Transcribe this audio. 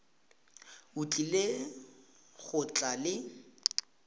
o tlile go tla le